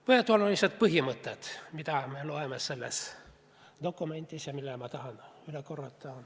Mõned olulised põhimõtted, mida me loeme sellest dokumendist ja mis ma tahan üle korrata.